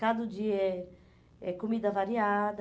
Cada dia é é comida variada.